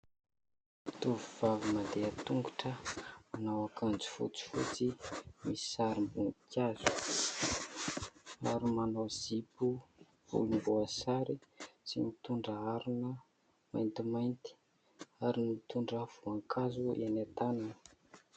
Tovovavy mandeha tongotra. Manao akanjo fotsifotsy misy sarim-boninkazo ary manao zipo volomboasary sy mitondra harona maintimainty ary mitondra voankazo eny an-tanany.